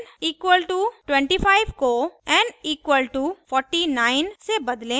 n = 25 को n = 49 से बदलें